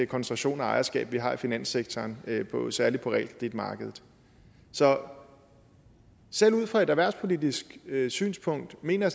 koncentration af ejerskab vi har i finanssektoren særlig på realkreditmarkedet så selv ud fra et erhvervspolitisk synspunkt mener